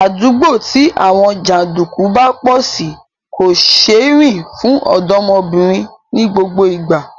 Àdúgbò tí àwọn jàndùkú bá pọ̀ sí kò ṣeé rìn fún ọ̀dọ́mọbìnrin ní gbogbo ìgbà